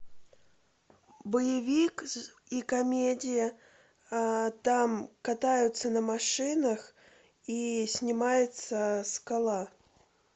боевик и комедия там катаются на машинах и снимается скала